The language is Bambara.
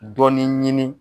Dɔnni ɲini